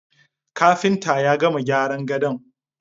Kafintan ya gama gyaran gadon